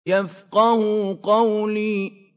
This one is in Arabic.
يَفْقَهُوا قَوْلِي